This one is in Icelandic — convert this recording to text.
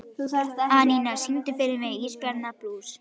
Anína, syngdu fyrir mig „Ísbjarnarblús“.